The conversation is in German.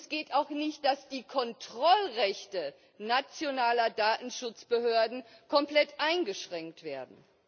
Es geht auch nicht, dass die Kontrollrechte nationaler Datenschutzbehörden komplett eingeschränkt werden.